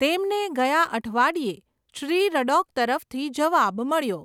તેમને ગયા અઠવાડિયે શ્રી રડૉક તરફથી જવાબ મળ્યો.